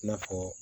I n'a fɔ